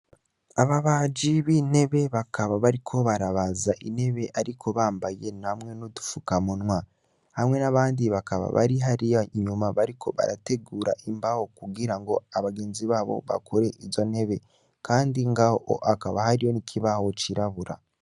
Ababaji n'intebe bakaba bariko barabaz'inteb'ariko yambaye hamwe n'udupfukamunwa, hamwe n'abandi bakaba bari hariy'inyuma bariko barategur'imbaho kugira ngo bagenzi babo bakor'izo nyene kandi ngaho hakaba n'ikibaho cirabura.